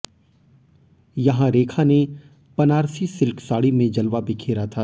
यहां रेखा ने बनारसी सिल्क साड़ी में जलवा बिखेरा था